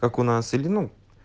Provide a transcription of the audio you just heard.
как у нас или ну